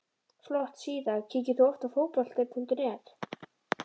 Flott síða Kíkir þú oft á Fótbolti.net?